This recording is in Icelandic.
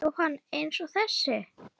Jóhann: Eins og þessi?